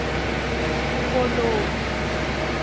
koloni